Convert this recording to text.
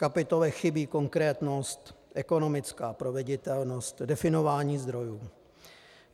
Kapitole chybí konkrétnost, ekonomická proveditelnost, definování zdrojů.